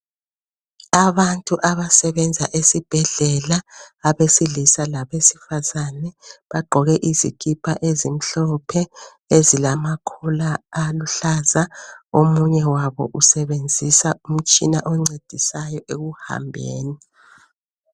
Abantu abasebenza esibhedlela abesilisa labesifazane bagqoke izikipa ezimhlophe ezilamacollar aluhlaza, omunye wabo usebenzisa umtshina oncedisayo ekuhambeni.